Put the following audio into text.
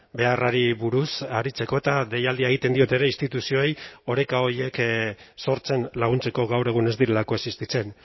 beharrari buruz aritzeko eta deialdia egiten diot ere instituzioei oreka horiek sortzen laguntzeko gaur egun ez direlako existitzen